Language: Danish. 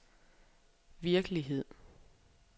virkelighed